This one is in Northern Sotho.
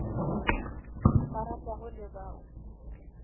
ba ratago le ba o